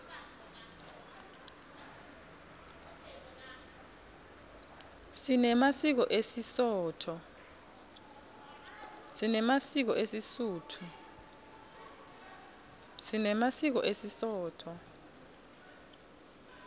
sinemasiko esisotho